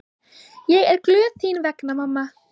Ég er glöð þín vegna mamma.